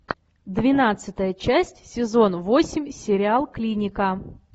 двенадцатая часть сезон восемь сериал клиника